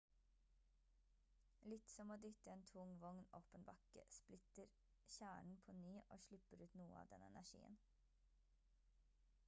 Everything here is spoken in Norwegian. litt som å dytte en tung vogn opp en bakke splitter kjernen på ny og slipper ut noe av den energien